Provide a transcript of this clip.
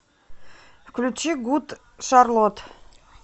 включи гуд шарлот